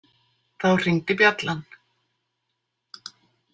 Þá hringdi bjallan.